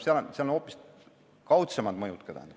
Seal on hoopis kaudsemad mõjud.